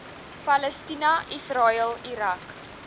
palestina israel irak